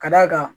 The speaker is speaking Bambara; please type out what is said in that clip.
Ka d'a kan